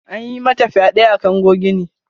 An yi mata fyade a kango gine.